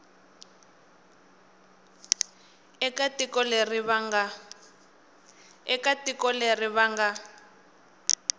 eka tiko leri va nga